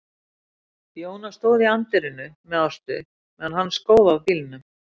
Jóna stóð í anddyrinu með Ástu meðan hann skóf af bílnum.